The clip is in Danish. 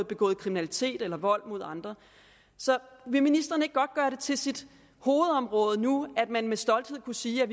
begået kriminalitet eller vold mod andre så vil ministeren ikke godt gøre det til sit hovedområde nu med med stolthed at kunne sige at